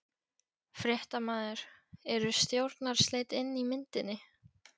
Fréttamaður: Eru stjórnarslit inn í myndinni?